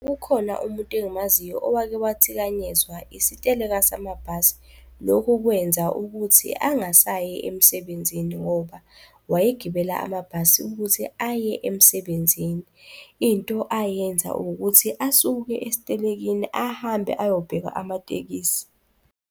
Kukhona umuntu engimaziyo owake wathikanyezwa isiteleka samabhasi. Lokhu kwenza ukuthi angasayi emsebenzini ngoba wayegibela amabhasi ukuthi aye emsebenzini. Into ayenza ukuthi asuke esitelekini ahambe ayobheka amatekisi.